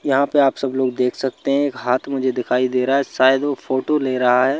यहां पे आप सब लोग देख सकते हैं एक हाथ मुझे दिखाई दे रहा है शायद वो फोटो ले रहा है।